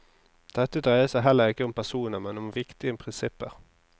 Dette dreier seg heller ikke om personer, men om viktig prinsipper.